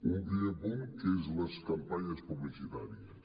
un primer punt que són les campanyes publicitàries